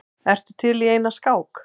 Ertu til í eina skák?